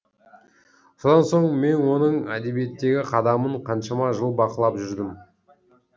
содан соң мен оның әдебиеттегі қадамын қаншама жыл бақылап жүрдім